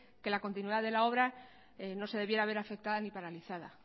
que la continuidad de la obra no se debiera ver afectada ni paralizada